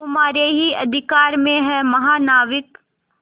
तुम्हारे ही अधिकार में है महानाविक